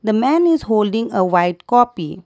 a man is holding a white copy.